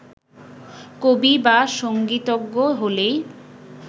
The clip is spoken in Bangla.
কবি বা সংগীতজ্ঞ হলেই